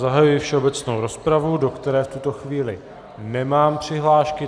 Zahajuji všeobecnou rozpravu, do které v tuto chvíli nemám přihlášky.